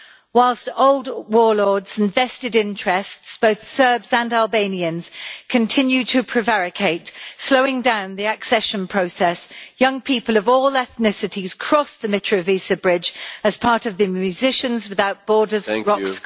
Whilst old warlords and vested interests, both Serbs and Albanians, continue to prevaricate, slowing down the accession process, young people of all ethnicities crossed the Mitrovica bridge as part of the Musicians without Borders Rock School.